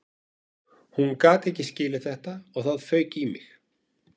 Hún gat ekki skilið þetta og það fauk í mig